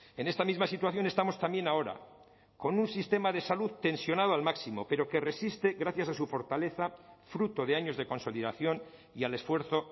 en esta misma situación estamos también ahora con un sistema de salud tensionado al máximo pero que resiste gracias a su fortaleza fruto de años de consolidación y al esfuerzo